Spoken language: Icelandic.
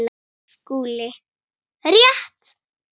SKÚLI: Rétt!